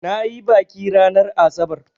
Na yi baƙi ranar asabar.